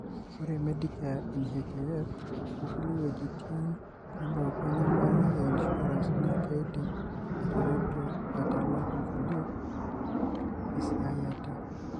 ore"medicare, NHIF," okulie weujitin olopeny embare e insurance na kinadim ataret atalak ingulie kisiayiata.